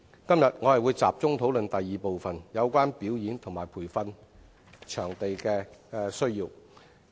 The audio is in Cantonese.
今天，我會集中討論第二部分有關表演及培訓場地的需要。